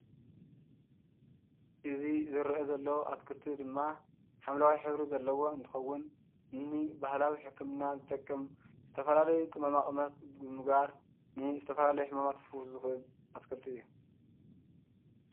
እዚ ዝረአ ዘሎ ኣትክልቲ ድማ ሓምለዋይ ሕብሪ ዘለዎ እንትኸውን ንባህላዊ ሕክምና ዝጠቅም ዝተፈላለዩ ቅመማቅመማት ብምግባር ንዝተፈላለዩ ሕማማት ክፍውስ ዝኽእል ኣትክልቲ እዩ፡፡